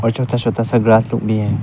और छोटा छोटा सा ग्रास लोग भी है।